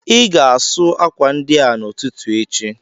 Ị ga-asụ akwa ndị a n'ụtụtụ echi!